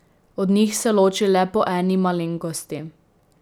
Od njih se loči le po eni malenkosti.